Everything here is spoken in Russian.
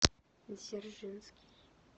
дзержинский